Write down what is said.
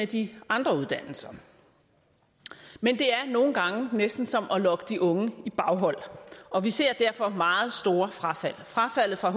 de andre uddannelser men det er nogle gange næsten som at lokke de unge i baghold og vi ser derfor meget store frafald frafaldet for